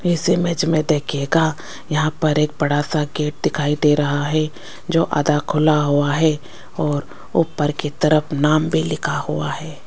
इस इमेज में देखिएगा यहां पर एक बड़ा सा गेट दिखाई दे रहा है जो आधा खुला हुआ है और ऊपर की तरफ नाम भी लिखा हुआ है।